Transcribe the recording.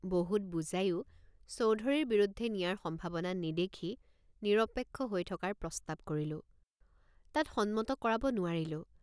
বহুত বুজায়ো চৌধুৰীৰ বিৰুদ্ধে নিয়াৰ সম্ভাৱনা নেদেখি নিৰপেক্ষ হৈ থকাৰ প্ৰস্তাৱ কৰিলোঁ তাত সন্মত কৰাব নোৱাৰিলোঁ।